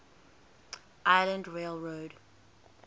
island rail road